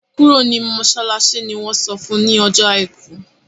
kúrò ní masalasi! ní wón sọfún ní Ọjọ́ aìkú!